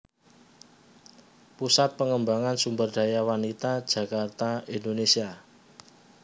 Pusat Pengembangan Sumberdaya Wanita Jakarta Indonesia